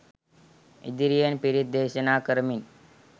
ඉදිරියෙන් පිරිත් දේශනා කරමින්